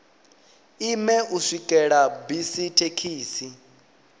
ime u swikela bisi thekhisi